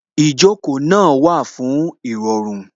Ìjókòó náà wà fún Ìrọ̀rùn